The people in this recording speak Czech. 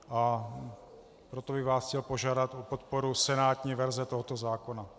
A proto bych vás chtěl požádat o podporu senátní verze tohoto zákona.